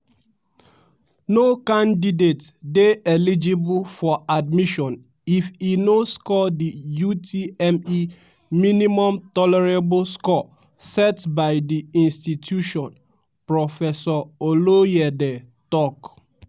"no candidate dey eligible for admission if e no score di utme minimum tolerable score set by di institution" professor oloyede tok.